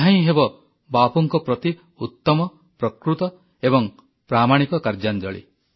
ଏହା ହିଁ ହେବ ବାପୁଙ୍କ ପ୍ରତି ଉତ୍ତମ ପ୍ରକୃତ ଏବଂ ପ୍ରାମାଣିକ କାର୍ଯ୍ୟାଞ୍ଜଳୀ